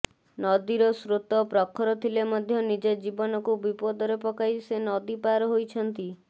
ନଦୀର ସ୍ରୋତ ପ୍ରଖର ଥିଲେ ମଧ୍ୟ ନିଜ ଜୀବନକୁ ବିପଦରେ ପକାଇ ସେ ନଦୀ ପାର ହୋଇଛନ୍ତି